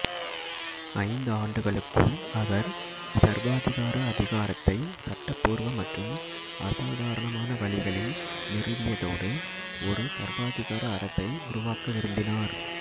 ஐந்து ஆண்டுகளுக்குள் அவர் சர்வாதிகார அதிகாரத்தை சட்டப்பூர்வ மற்றும் அசாதாரணமான வழிகளில் நிறுவியதோடு ஒரு சர்வாதிகார அரசை உருவாக்க விரும்பினார்